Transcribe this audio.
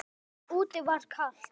Úti var kalt.